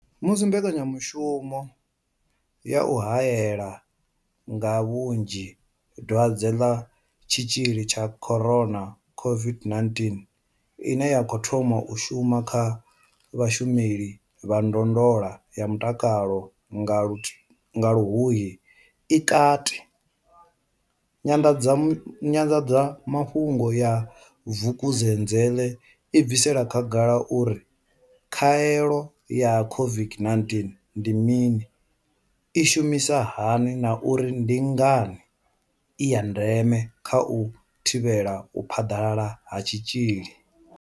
Musi mbekanyamushumo ya u hae la nga vhunzhi dwadze ḽa Tshitzhili tsha corona COVID-19 ine ya khou thoma u shuma kha vhashumeli vha ndondolo ya mutakalo nga Luhuhi i kati, Nyanḓadzamafhungo ya Vukuzenzele i bvisela khagala uri khaelo ya COVID-19 ndi mini, i shumisa hani na uri ndi ngani i ya ndeme kha u thivhela u phaḓalala ha tshitzhili.